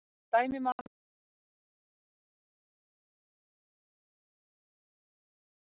Sem dæmi má nefna að í orðunum glaður, glaðlegur, glaðna, glaðvær er rótin glað-.